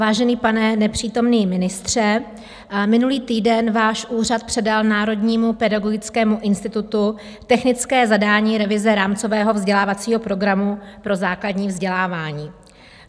Vážený pane nepřítomný ministře, minulý týden váš úřad předal Národnímu pedagogickému institutu technické zadání revize rámcového vzdělávacího programu pro základní vzdělávání.